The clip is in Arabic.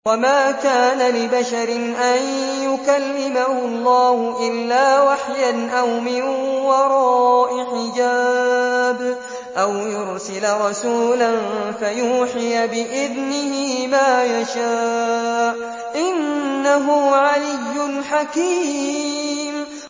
۞ وَمَا كَانَ لِبَشَرٍ أَن يُكَلِّمَهُ اللَّهُ إِلَّا وَحْيًا أَوْ مِن وَرَاءِ حِجَابٍ أَوْ يُرْسِلَ رَسُولًا فَيُوحِيَ بِإِذْنِهِ مَا يَشَاءُ ۚ إِنَّهُ عَلِيٌّ حَكِيمٌ